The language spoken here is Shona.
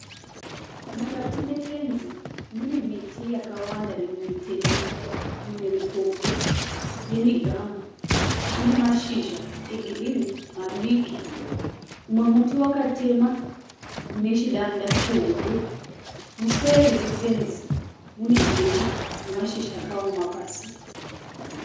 Mukati mefenzi mune miti yakawanda mimwe mitete mimwe mikobvu yemigamu ine mashizha egirinhi madiki. Mumwe muti wakatemwa une chidanda chihombe. Museri mefenzi mune jecha nemashizha akaoma pasi.